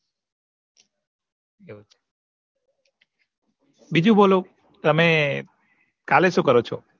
બીજું બોલો તમેં કાલે શું કરો છો